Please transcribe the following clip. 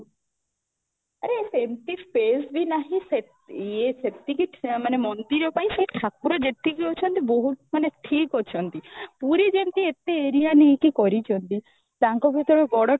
ଆରେ ସେମିତି ସ୍ପାସବି ନାହିଁ ସେ ଏ ସେଠି ମାନେ ମନ୍ଦିର ପାଇଁ ସେ ଠାକୁର ଯେତିକି ଅଛନ୍ତି ମାନେ ବହୁତ ଠିକ ଅଛନ୍ତି, ପୁରୀ ଯେମିତି ଏତେ area ନେଇକି କରିଛନ୍ତି ତାଙ୍କକୁ ତ ବଡ଼ ଠାକୁର